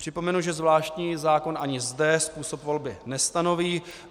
Připomenu, že zvláštní zákon ani zde způsob volby nestanoví.